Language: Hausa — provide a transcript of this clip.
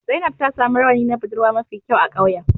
Zainab ta samu rawani na budurwa mafi kyau a ƙauyen.